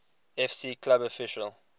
fc club official